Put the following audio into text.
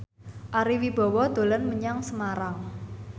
Ari Wibowo dolan menyang Semarang